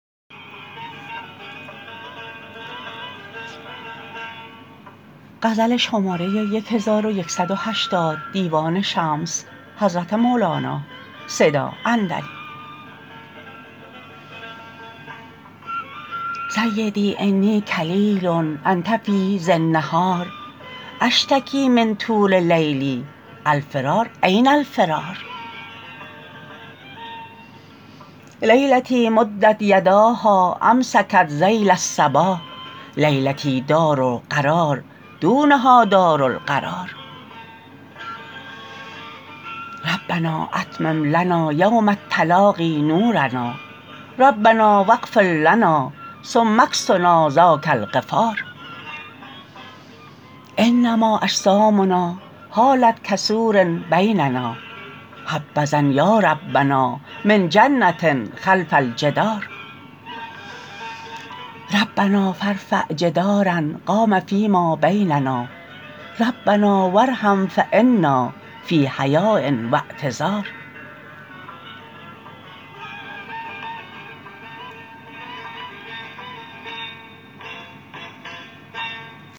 سیدی انی کلیل انت فی زی النهار اشتکی من طول لیلی الفرار این الفرار لیلتی مدت یداها امسکت ذیل الصباح لیلتی دار قرار دونها دار القرار ربنا اتمم لنا یوم التلاقی نورنا ربنا و اغفر لنا ثم اکسنا ذاک الغفار انما اجسامنا حالت کسور بیننا حبذا یا ربنا من جنه خلف الجدار ربنا فارفع جداراء قام فیما بیننا ربنا و ارحم فانا فی حیاء و اعتذار